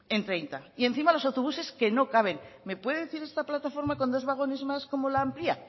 en hogeita hamar y encima los autobuses que no caben me puede decir esta plataforma con dos vagones más cómo la amplia